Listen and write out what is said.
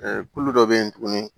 kulu dɔ bɛ yen tuguni